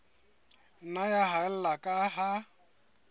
nna ya haella ka ha